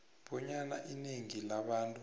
bonyana inengi labantu